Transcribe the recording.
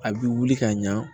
A bɛ wuli ka ɲa